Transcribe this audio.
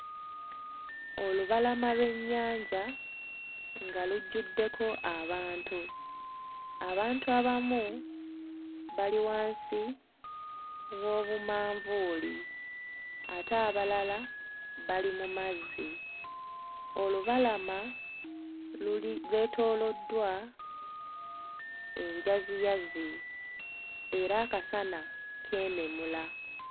Olubalama lw'ennyanja nga lujjuddeko abantu abantu abamu bali wansi w'obumanvuuli ate abalala bali mu mazzi olubalama luli lwetooloddwa enjaziyazi era akasana keememula.